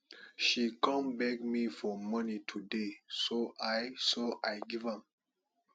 she come beg me for money today so i so i give am